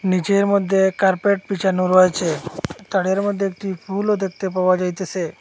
নীচের মধ্যে কার্পেট পিছানো রয়েছে তারের মধ্যে একটি ফুলও দেখতে পাওয়া যাইতেসে।